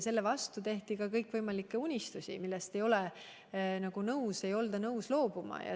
Sellest tulenevalt tehti kõikvõimalikke unistusi, millest ei olda nõus loobuma.